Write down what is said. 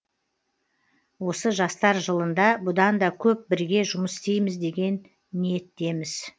осы жастар жылында бұдан да көп бірге жұмыс істейміз деген ниеттеміз